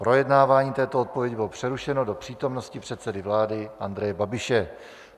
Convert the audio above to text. Projednávání této odpovědi bylo přerušeno do přítomnosti předsedy vlády Andreje Babiše.